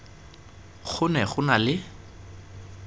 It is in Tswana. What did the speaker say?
go ne go na le